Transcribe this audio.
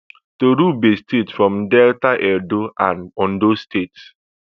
toruebe state from delta edo and ondo states